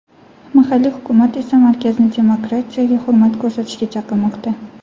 Mahalliy hukumat esa markazni demokratiyaga hurmat ko‘rsatishga chaqirmoqda.